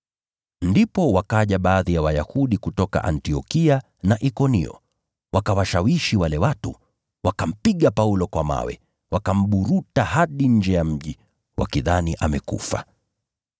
Ndipo wakaja baadhi ya Wayahudi kutoka Antiokia na Ikonio wakawashawishi wale watu, wakampiga Paulo kwa mawe, wakamburuta hadi nje ya mji, wakidhani amekufa.